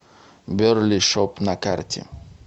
берли шоп на карте